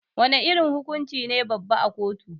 Wana irin hukunci ne babba a kotu?